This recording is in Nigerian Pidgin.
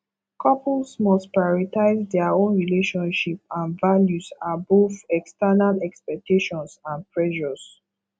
couples must prioritize dia own relationship and values above external expectations and pressures